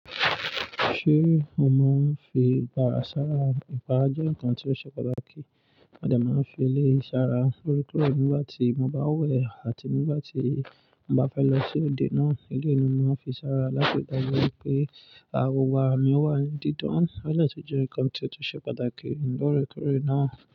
Ṣé o mọ fi ìpara sára? Ìpara jẹ́ nǹkan tí ó ṣe pàtàkì. Máa dẹ máa ń fi ilé sára koríko nígbà tí mo bá wẹ̀ àti nígbà tí mo bá fẹ́ lọ sí òde náà. Ilé ni mo máa ń fi sára láti dàgbà wípé awo wa mi wà ní dídán. Ọ̀rẹ́ ti jẹ́ nǹkan tí ó ṣe pàtàkì nígbà rẹ́kọrẹ́ náà.